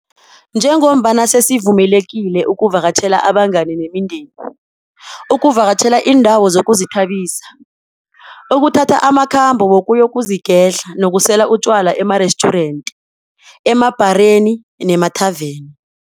Njengombana sesivumelekile ukuvakatjhela abangani nemindeni, ukuvakatjhela iindawo zokuzithabisa, ukuthatha amakhambo wokuyozigedla nokusela utjwala emarestjurenti, emabhareni nemathaveni.